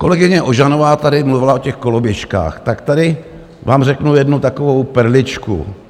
Kolegyně Ožanová tady mluvila o těch koloběžkách, tak tady vám řeknu jednu takovou perličku.